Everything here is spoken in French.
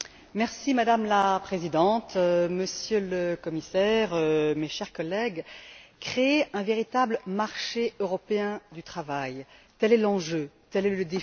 Madame la Présidente, Monsieur le Commissaire, chers collègues, créer un véritable marché européen du travail, tel est l'enjeu, tel est le défi.